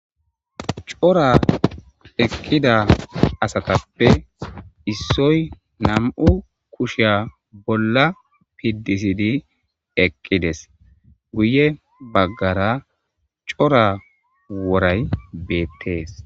Cora eqqida asatappe issoy nam'u kushshiya bolla piddisidi eqqides guye baggara cora woray bettes.